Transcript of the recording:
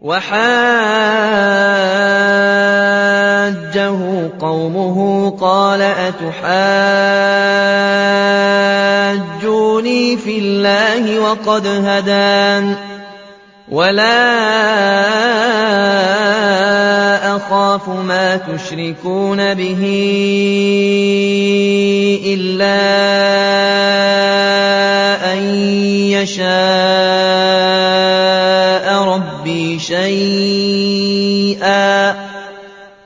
وَحَاجَّهُ قَوْمُهُ ۚ قَالَ أَتُحَاجُّونِّي فِي اللَّهِ وَقَدْ هَدَانِ ۚ وَلَا أَخَافُ مَا تُشْرِكُونَ بِهِ إِلَّا أَن يَشَاءَ رَبِّي شَيْئًا ۗ